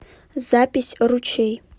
запись ручей